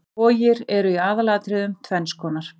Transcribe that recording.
Vogir eru í aðalatriðum tvenns konar.